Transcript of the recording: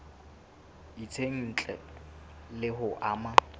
itseng ntle le ho ama